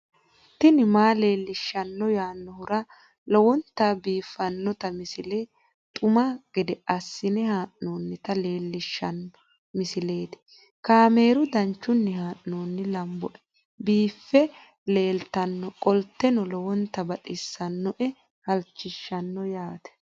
tini maa leelishshanno yaannohura lowonta biiffanota misile xuma gede assine haa'noonnita leellishshanno misileeti kaameru danchunni haa'noonni lamboe biiffe leeeltannoqolten lowonta baxissannoe halchishshanno yaate